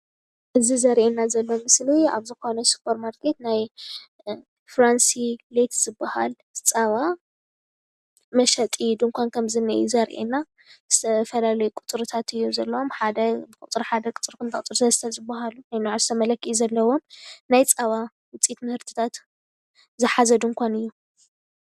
እዚ ዘርአየና ዘሎ ምስሊ ኣብ ዝኾነ ሱፐር ማርኬት ናይ ፍራንሲ ሌክስ ዝባሃል ፀባ መሸጢ ድንኳን ከም ዝንኤ እዩ ዘርአየና፡፡ ዝተፈላለዩ ቁፅርታት እዩ ዘለዉዎ ፡፡ ቁፅሪ ሓደ፣ ቁፅሪ2፣ ዠነንበዓርሶም መለኪዒ ዘለዎም ናይ ፀባ ውፅኢት ምህርትታት ዝሓዘ ድንኳን እዩ፡፡